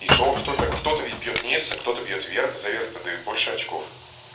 и то кто-то кто-то ведь бьёт низ а кто-то бьёт вверх за верх-то дают больше очков